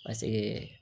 Paseke